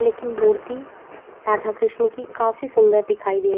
लेकिन मूर्ति राधा कृष्ण की काफी सूंदर दिखाई दे --